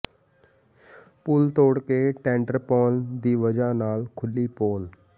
ਪੁਲ ਤੋਡ਼ ਕੇ ਟੈਂਡਰ ਪਾਉਣ ਦੀ ਵਜ੍ਹਾ ਨਾਲ ਖੁੱਲ੍ਹੀ ਪੋਲ